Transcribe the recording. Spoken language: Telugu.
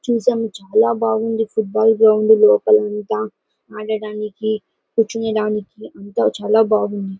చూసాము చాలా బావుంది ఫుట్బాల్ గ్రౌండ్ లోపల అంతా. ఆడడానికి కూర్చోవడానికి అంతా చాలా బావుంది.